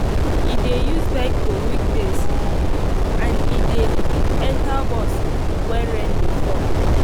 e dey use bike for weekdays and e dey enter bus wen rain dey fall